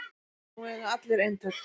Nú eiga allir eintak